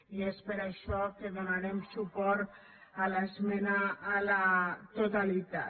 i és per això que donarem su·port a l’esmena a la totalitat